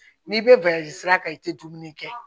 N'i bɛ balazira kan i tɛ dumuni kɛ